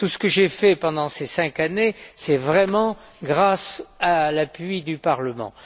Tout ce que j'ai fait pendant ces cinq années, c'est grâce à l'appui du Parlement.